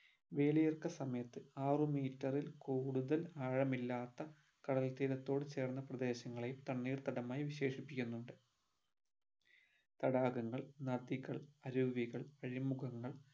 വേലിയേർക്ക സമയത് ആറു meter ൽ കൂടുതൽ ആഴമിലാത്ത കടൽത്തീരത്തോട് ചേർന്ന പ്രദേശങ്ങളെയും തണ്ണീർത്തടമായി വിശേഷിപിക്കുന്നുണ്ട് തടാകങ്ങൾ നദികൾ അരുവികൾ അഴിമുഖങ്ങൾ